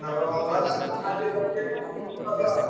ଭଲ ହେଲା ଆଉ ହାରିଗଲା India team ମନା ଦୁଃଖ ହେଲା ଆଉ।